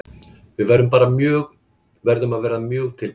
Við verðum að vera mjög tilbúnar.